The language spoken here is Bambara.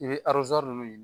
I be nunnu yi